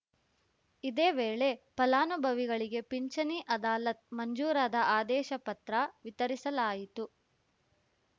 ಇದೇ ವೇಳೆ ಫಲಾನುಭವಿಗಳಿಗೆ ಪಿಂಚಣಿ ಅದಾಲತ್‌ ಮಂಜೂರಾದ ಆದೇಶ ಪತ್ರ ವಿತರಿಸಲಾಯಿತು